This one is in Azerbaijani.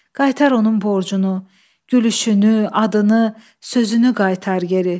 Qaytar onun borcunu, gülüşünü, adını, sözünü qaytar geri.